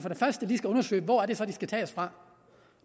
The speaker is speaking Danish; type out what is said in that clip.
lige skal undersøge hvor det er de skal tages fra